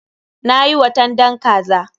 Na yi watandan kaza.